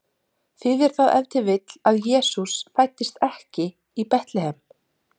Þýðir það ef til vill að Jesús fæddist ekki í Betlehem?